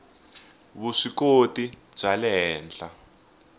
vuswikoti bya le henhla